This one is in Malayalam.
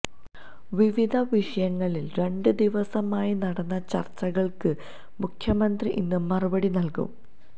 വിവിധ വിഷയങ്ങളിൽ രണ്ട് ദിവസമായി നടന്ന ചർച്ചകൾക്ക് മുഖ്യമന്ത്രി ഇന്ന് മറുപടി നൽകും